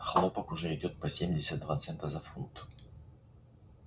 хлопок уже идёт по семьдесят два цента за фунт